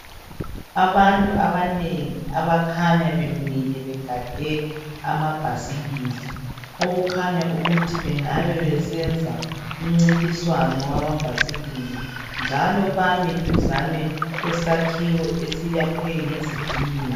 Abantu abanengi abakhanya bemile begade amabhasikili okukhanya ukuthi bengabe besenza umncintiswano wamabhasikili njalo bami duzane kwesakhiwo esiyakhwe ngezitina.